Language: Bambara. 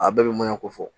A bɛɛ bɛɲan ko fɔ